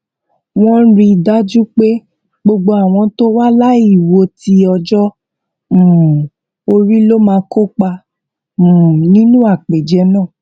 wón rí i dájú pé gbogbo àwọn tó wà láìwo tí ọjọ um orí ló máa kópa um nínú àpèjẹ náà